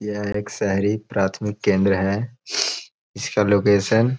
यह एक शहरी प्राथमिक केंद्र है। इसका लोकेशन --